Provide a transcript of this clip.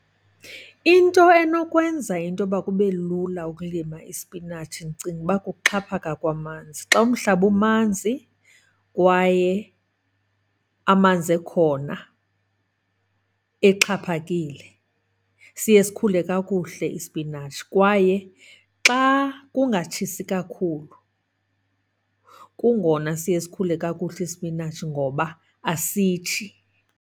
Into enokwenza intoba kube lula ukulima isipinatshi ndicinga uba kukuxhaphaka kwamanzi. Xa umhlaba umanzi kwaye amanzi ekhona exhaphakile, siye sikhule kakuhle isipinatshi. Kwaye xa kungatshisi kakhulu kungona siye sikhule kakuhle isipinatshi ngoba asitshi.